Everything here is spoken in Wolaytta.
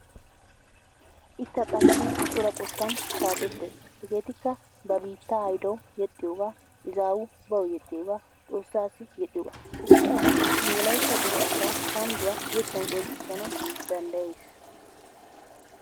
Ikka qassi cora qottan shaakettes. Hegeetikka qassi ba biittaa hayidawu yexxiyogaa, izaawu bawu yexxiyogaa, xoossaassi yexxiyogaa. Issi asi nu wolaytta dere asaa kandduwa yettan qonccissanawu danddayes.